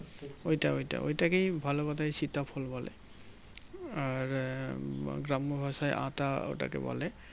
ওইটা ওইটা ওই টাকেই ভালো কথাই সীতা ফল বলে আর উম গ্রাম্য ভাষায় আতা ওটাকে বলে